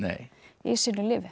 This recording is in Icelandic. í sínu lífi